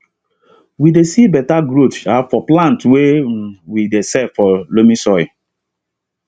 we dey see better growth um for plants way um we dey sell for loamy soil